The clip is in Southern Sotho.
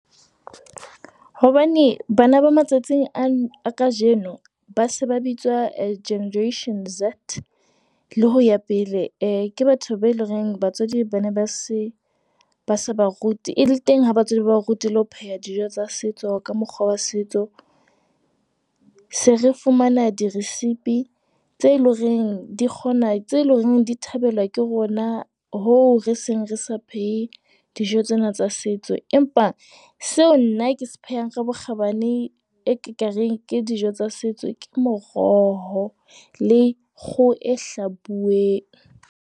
Hobane bana ba matsatsing a kajeno ba se ba bitswa Generation Z le ho ya pele, ke batho ba eleng hore batswadi ba ne ba se ba se ba route eh le teng ha batswadi ba o rutile ho pheha dijo tsa setso ka mokgwa wa setso, se re fumana diresipi tse loreng di kgona tse leng di thabelwa ke rona hho re seng re sa phehe dijo tsena tsa setso. Empa seo nna ke se phehang ka bokgabane e ke kareng ke dijo tsa setso, ke moroho le kgoho e hlabuweng.